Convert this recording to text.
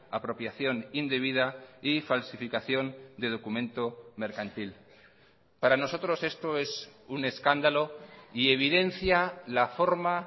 apropiación indebida y falsificación de documento mercantil para nosotros esto es un escándalo y evidencia la forma